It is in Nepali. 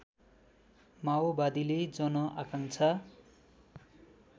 माओवादीले जन आकांक्षा